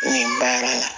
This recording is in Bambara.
N ye baara la